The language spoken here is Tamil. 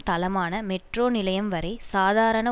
தளமான மெட்ரோ நிலையம் வரை சாதாரண